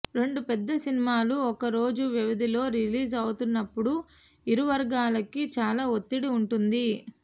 రెండు పెద్ద సినిమాలు ఒక్క రోజు వ్యవధిలో రిలీజ్ అవుతున్నపుడు ఇరు వర్గాలకీ చాలా ఒత్తిడి వుంటుంది